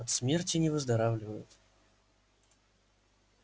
от смерти не выздоравливают